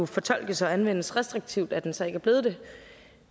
fortolkes og anvendes restriktivt at den så ikke er blevet det